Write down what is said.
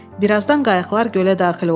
Bir azdan qayıqlar gölə daxil oldu.